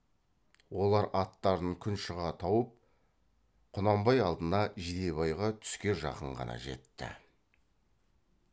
олар аттарын күн шыға тауып құнанбай алдына жидебайға түске жақын ғана жетті